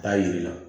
K'a yir'i la